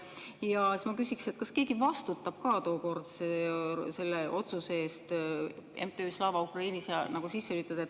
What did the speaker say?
Ja veel ma küsiks, kas keegi vastutab ka tookordse otsuse eest MTÜ Slava Ukraini siia sisse lülitada.